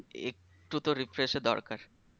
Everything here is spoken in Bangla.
একটু তো refresh এর দরকার